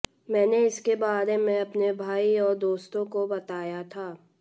मैंने इसके बारे में अपने भाई और दोस्तों को बताया था